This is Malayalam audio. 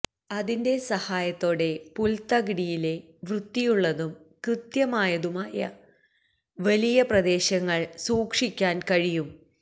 അതിന്റെ സഹായത്തോടെ പുൽത്തകിടിയിലെ വൃത്തിയുള്ളതും കൃത്യമായതുമായ വലിയ പ്രദേശങ്ങൾ സൂക്ഷിക്കാൻ കഴിയും